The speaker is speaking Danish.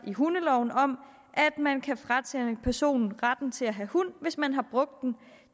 i hundeloven om at man kan fratage en person retten til at have hund hvis man har brugt den